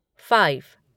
five